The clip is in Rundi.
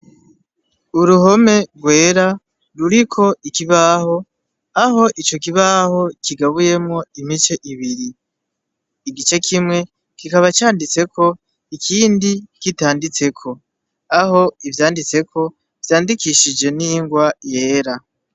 Uruhome rwera ruriko ikibaho aho ico kibaho kigabuyemwo imice ibiri igice kimwe kikaba canditseko ikindi kitanditseko aho ivyanditseko vyandikishije n'ingwa yera.